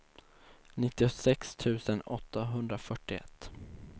nittiosex tusen åttahundrafyrtioett